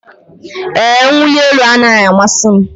Ee, mwụli elu anaghị amasị m.